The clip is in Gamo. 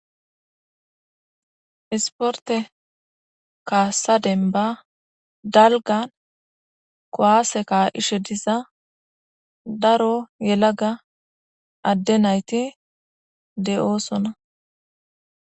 isporte kaassa denba dalgan kowaase ka ishe diza daro yelaga adde nayti de7oosona